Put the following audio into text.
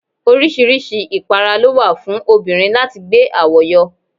Oríṣiríṣi ipara ló wà fún obìnrin láti gbé àwo yọ.